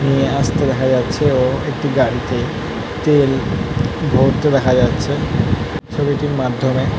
এ - আস্তে দেখা যাচ্ছেও একটি গাড়িতে তেল ভরতে দেখা যাচ্ছে ছবিটির মাধ্যমে --